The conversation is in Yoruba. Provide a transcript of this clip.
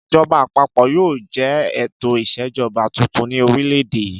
Ìjọba àpapọ̀ yóò jẹ́ ètò ìṣèjọba tuntun ní orílẹ̀-èdè yìí.